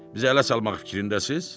Bizə ələ salmaq fikrindəsiniz?